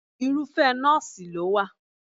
Irúfẹ́ nọ́ọ̀sì ló wà.